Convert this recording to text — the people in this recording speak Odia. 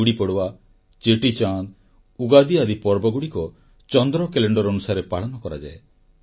ଗୁଡ଼ି ପଡ଼ୱା ଚେଟିଚାନ୍ଦ୍ ଉଗାଦି ଆଦି ପର୍ବଗୁଡ଼ିକ ଚନ୍ଦ୍ର କ୍ୟାଲେଣ୍ଡର ଅନୁସାରେ ପାଳନ କରାଯାଏ